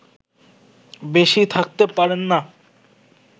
বেশি থাকতে পারেন না